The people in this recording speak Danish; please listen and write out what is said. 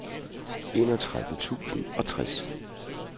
enogtredive tusind og tres